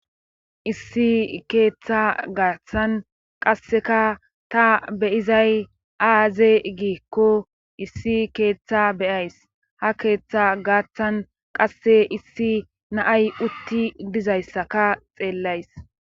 Issi keeththa gaaththan qasseka ta beyizay aaze giikko issi keeththa beyays ha keeththa gaaththan qasse issi naay utti dizayssaka xeellays